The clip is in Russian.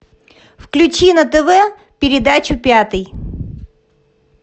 включи на тв передачу пятый